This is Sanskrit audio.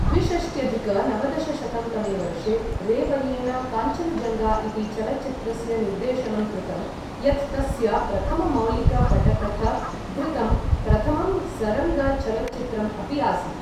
द्विषष्ट्यधिक नवदशशतं तमे वर्षे रे वर्येण काञ्चनजङ्गा इति चलच्चित्रस्य निर्देशनं कृतं यत् तस्य प्रथममौलिकपटकथ धृतं, प्रथमं सरङ्ग चलच्चित्रम् अपि आसीत्।